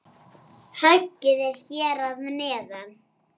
Höggið er hér að neðan.